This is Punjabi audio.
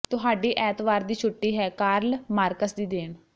ਤੁਹਾਡੀ ਐਤਵਾਰ ਦੀ ਛੁੱਟੀ ਹੈ ਕਾਰਲ ਮਾਰਕਸ ਦੀ ਦੇਣ